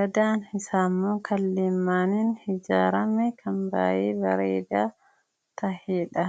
dallaan isaa immoo kan leemmanaan ijaarame kan baay'ee bareedaa ta'edha.